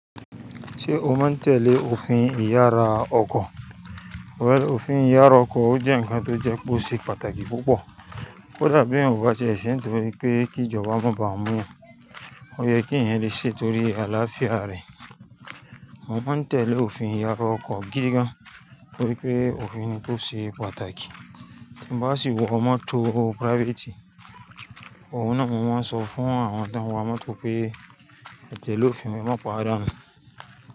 Ṣé o mọ̀ n tẹ́lẹ̀ òfin ìyára ọkọ̀? Well, òfin ìyára ọkọ̀ ó jẹ́ ǹkan tójẹ́ peoṣe pàtàkì púpọ̀. Kódà bí eniyan obatie ṣe nítorí pé kí jọba má bà a mú yan, ó yẹ kí ẹ̀yin lè ṣe torí àlàáfíà ara ẹ̀. Mo mọ̀ n tẹ́lẹ̀ òfin ìyára ọkọ̀ gidi gan, torí pé òfin tose ṣe pàtàkì. Tí ǹ bá sì wọ mọ́tò private, òun náà mo n sọ fún àwọn tó ń wa mọ́tò pé, "etẹ́lẹ̀ òfin, ẹmá pawa àdun."